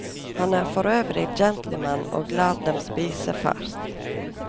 Han er forøvrig gentleman og lar dem spise først.